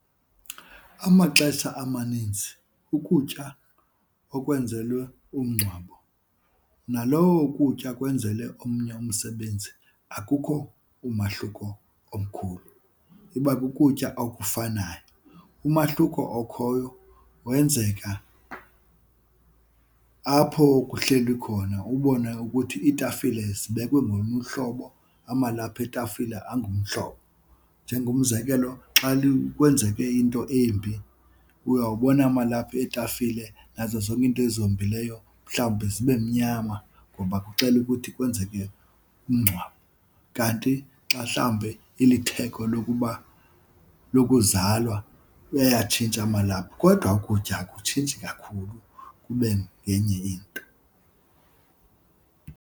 Amaxesha amaninzi ukutya okwenzelwe umngcwabo nalowo kutya kwenzele omnye umsebenzi akukho umahluko omkhulu, iba kukutya okufanayo. Umahluko okhoyo wenzeka apho kuhlelwe khona ubone ukuthi iitafile zibekwe ngolunye uhlobo, amalaphu eetafile angumhlobo. Njengomzekelo, xa kwenzeke into embi uyawubona amalaphu etafile nazo zonke iinto ezihombileyo mhlawumbi zibe mnyama ngoba kuxela ukuthi kwenzeke umngcwabo. Kanti xa mhlawumbe ilitheko lokuba lokuzalwa ayatshintsha amalaphu, kodwa ukutya akutshintshi kakhulu kube ngenye into.